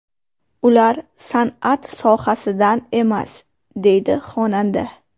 Ular san’at sohasidan emas”, deydi xonanda.